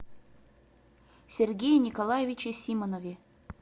сергее николаевиче симонове